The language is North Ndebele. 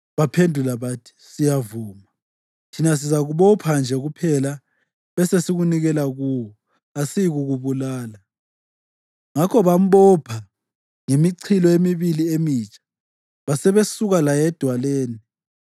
Baphendula bathi, “Siyavuma. Thina sizakubopha nje kuphela besesikunikela kuwo. Kasiyikukubulala.” Ngakho bambopha ngemichilo emibili emitsha, basebesuka laye edwaleni.